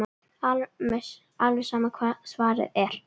Alveg sama hvert svarið er.